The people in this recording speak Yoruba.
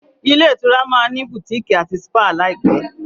Ilé-ìtura ma ní Butikii àti dpá láìpé.